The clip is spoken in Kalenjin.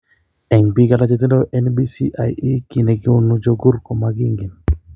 En biik alak chetindo NBCIE, kiiy ne koonu chukur komakiinken.